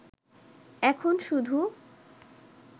এখন শুধু